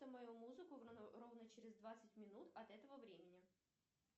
мою музыку ровно через двадцать минут от этого времени